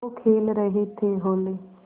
वो खेल रहे थे होली